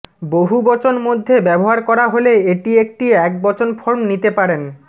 বহুবচন মধ্যে ব্যবহার করা হলে এটি একটি একবচন ফর্ম নিতে পারেন